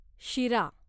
शिरा